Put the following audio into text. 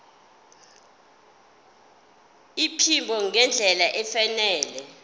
iphimbo ngendlela efanele